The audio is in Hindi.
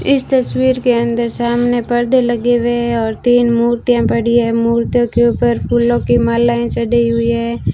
इस तस्वीर के अंदर सामने परदे लगे हुए और तीन मूर्तियां पड़ी है मूर्तियों के ऊपर फूलों की मलाएं चढ़ी हुई है।